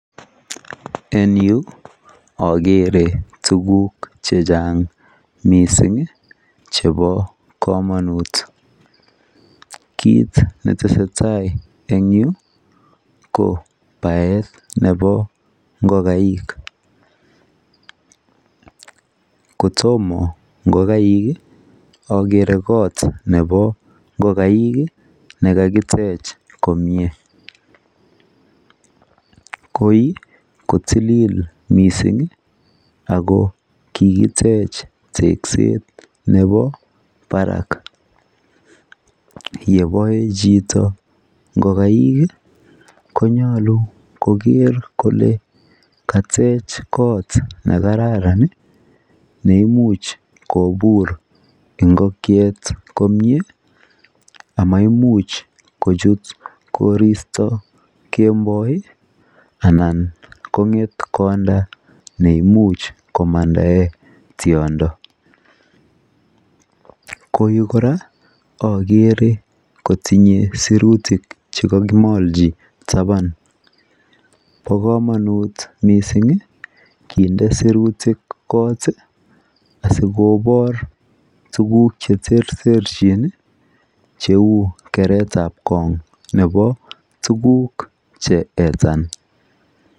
En yu akere tuguk che chang' missing' chepo kamamut. Kiit ne tese tai en yu ko paet nepo ngokaik. Ko toma ngokaik i, akere kot nepo ngokaik nekakitech komye. Koi ko titlil missing' ako kikitech tekset nepo parak. Ye pae chito ngolaik ko nyalu koker kole katech kot ne kararan ne imuch kopur ngokiet komye ama imuch kochut koristo kemboi anan kong'et konda ne imuch komandae tiondo. Ko yu kora akere kotinye sirutik che kakimalchi tapan. Pa kamanut missing' kinde sirutik kot asikopar tuguk che terterchin cheu keretap kong' nepo tuguk che etan.